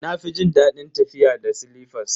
Na fi jin dadin tafiya da silifas.